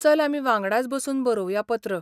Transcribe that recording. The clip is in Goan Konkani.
चल आमी वांगडाच बसून बरोवया पत्र.